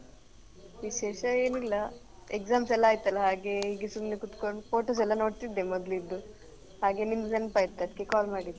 ವಿಶೇಷ ಏನ್ ಇಲ್ಲ exam ಎಲ್ಲ ಆಯ್ತಲ್ಲ ಹಾಗೆ ಹೀಗೇ ಸುಮ್ನೆ ಕೂತ್ಕೊಂಡ್ photos ಎಲ್ಲ ನೋಡ್ತಿದ್ದೆ ಮೊದ್ಲಿದ್ದು ಹಾಗೆ ನಿಮ್ದ್ ನೆನ್ಪ್ ಆಯ್ತ್ ಅದ್ಕೆ call ಮಾಡಿದ್ದ್.